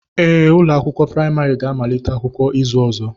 Ee, ụlọ akwụkwọ praịmarị ga-amalite akwụkwọ izu ọzọ